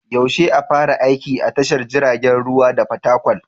Yaushe a fara aiki a tashar jiragen ruwa ta Fatakwal?